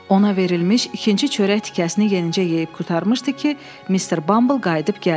Ona verilmiş ikinci çörək tikəsini yenicə yeyib qurtarmışdı ki, Mister Bumble qayıdıb gəldi.